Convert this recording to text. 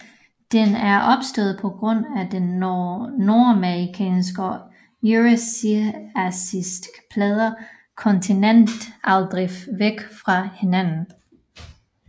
Den er opstået på grund af de nordmerikanske og eurasiatiske pladers kontinentaldrift væk fra hinanden